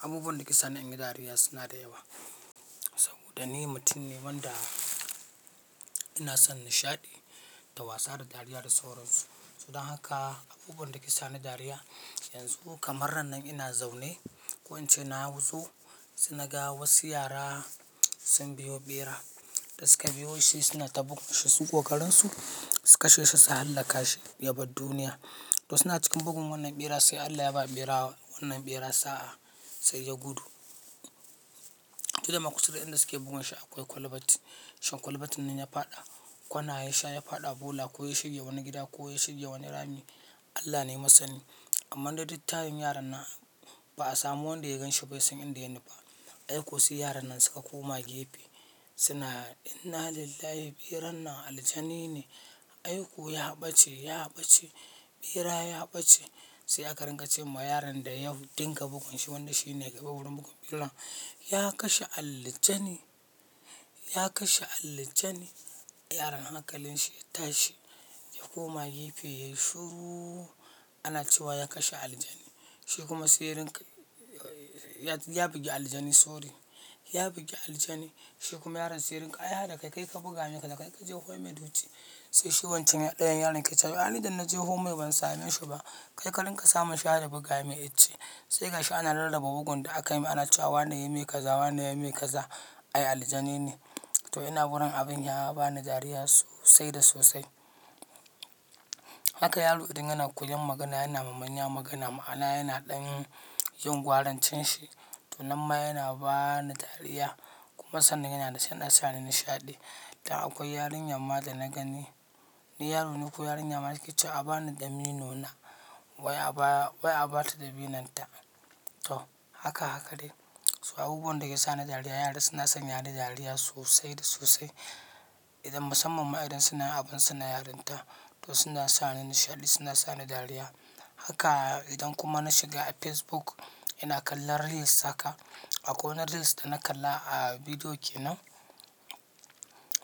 Abubuwan da ke sani in yi dariya suna da yawa. Saboda ni mutum ne wanda ina son nishaɗi da wasa da dariya da sauransu. To dan haka abubuwan da suke sani dariya yanzu kamar rannan ina zaune ko ince nazo sai naga wasu yara sun biyo bera da suka biyo shi suna ta buga shi, suna ƙoƙarin su su kashe shi su hallaka shi yabar duniya. To suna cikin bugun wannan ɓera sai Allah ya ba ɓera wannan ɓera sa'a sai ya gudu. Kida makushewar inda suke buga shi akwai kwalabat. Shan kwalabatin nan ya faɗa, kwana ya sha ya faɗa bola ko ya shirye wani gida ko ya shirye wani rami Allah ne masani. Amma duk ta rin yaron nan ba a samu wanda ya gan shi bai san inda ya nufa ba. Ai ko su yaran nan suka koma gefe suna "Inna lillahi, ɓeran nan aljani ne. Ai ko ya ɓace, ya ɓace, ɓera ya ɓace." Sai aka ringa ce ma yaron da ya dinga bugan shi wanda shi ne ke babbar bugun ɓeran, "Ya kashe aljanin, ya kashe aljanin." Yaron haka kalin shi ya tashi ya koma gefe yayi shuru ana cewa ya kashe aljani. Shi kuma sirrin ya bugi aljani sorry, ya bugi aljani. Shi kuma yaron sirrin "A ya da kai, kai ka buga me ka da kai ka je home duchi." Sai shi wancan ɗayan yaron ke cewa "Ni idan na je home ban same shi ba." Kai ka ringa sama shi har da buga me itce. Sai ga shi ana lallaba bugun da aka yi ma ana cewa wannan ya yi me kaza wannan ya yi me kaza. Ai aljani ne. To ina wurin abin ya ba ni dariya sosai da sosai. Haka yaro inda yana koyan magana yana mamanya magana ma'ana yana ɗan yin gwarancin shi. To nan ma yana ba ni dariya kuma sannan yana da shi yana sani nishaɗi. Da akwai yarinya mada na gani. Ni yaro niko yarinya maza ke ce a ba ni damino na wai a ba ta dabinon ta. To haka haka dai. So abubuwan da ke sani dariya yara suna sanya ni dariya sosai da sosai. Idan musamman ma idan suna abin suna yarin ta. To suna sani nishaɗi suna sani dariya. Haka idan kuma na shiga Facebook ina kallon reels haka. Akwai wani reels da na kalla a bidiyo ke nan.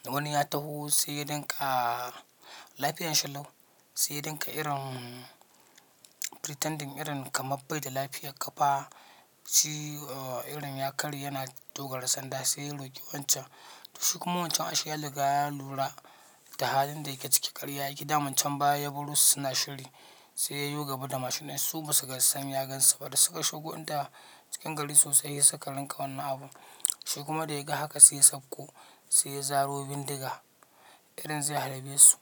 Wani ya taho sai ya dinga lafiya yayi shan lau. Sai dinga irin pretending irin kamar bai da lafiya kafa shi irin ya karyi yana dogara sanda sai ya ruƙi wancan. To shi kuma wancan a she yaruga ya lura da halin da yake ciki karya yake damun can baya ya baro su suna shiri. Sai yayo gaba da machine inshi su ba su san ya gansu ba, da suka shigoda cikin gari suka dinga yin wannan abun shi kuma dayaga haka sai ya dauko sai zaro bindiga irin zai harbe su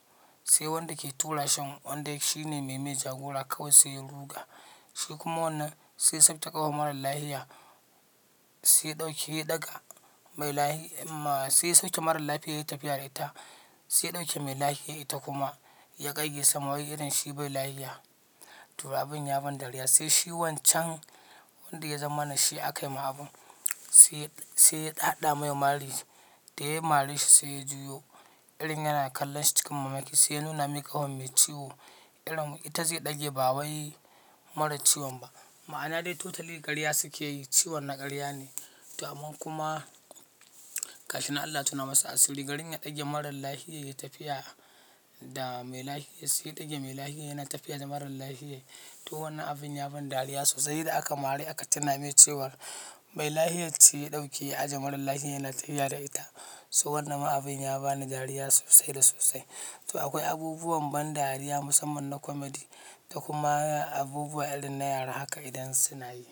sai wanda ke tura shan wanda shi ne mai mai jagora kawai sai ya ruga. Shikuma wannan sai ya sauke ƙafan mara lafiya sai ya daga mai sai ya sake mara lafiyan yayi tafi sai ya ɗauke mai lafiya ita kuma ya ƙayyasa ma wai irin shi bai lafiya. To abin ya bani dariya sai shi wancan wanda ya zama nashi aka yi ma abun. Sai, sai ya ɗaɗa mai mari da yayi mari shi sai ya juya irin yana kallon shi cikin mamaki sai ya nuna mai ƙahon mai ciwo irin ita zai ɗage ba wai marar ciwon ba. Ma'ana dai totally karya suke yi ciwon na karya ne. To amma kuma karshe na Allah suna masa asiri gari ya ɗage marar lafiya ya tafi da mai lafiya sai ya ɗage mai lafiya yana tafiya da marar lafiya. To wannan abin ya bani dariya sosai da aka mari aka tuna mai cewa mai lafiyan ce ya dauke ya ajiye mara lafiya yana tafiya da ita, so. Wannan abun ya bani dari da sosai da sosai to akwai abubuwan ban dariya musamman na comedy da kuma abubuwa irin na yara haka idan suna yi.